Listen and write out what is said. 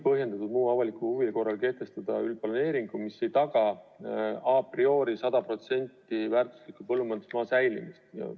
Põhjendatud muu avaliku huvi korral võib kehtestada üldplaneeringu, mis ei taga a priori sada protsenti väärtusliku põllumajandusmaa säilimist.